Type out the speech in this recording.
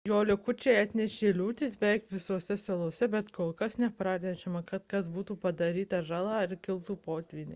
jo likučiai atnešė liūtis beveik visose salose bet kol kas nepranešama kad būtų padaryta žala ar kiltų potvyniai